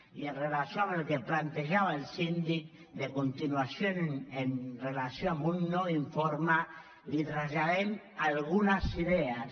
i amb relació al que plantejava el síndic de continuació amb relació a un nou informe li traslladem algunes idees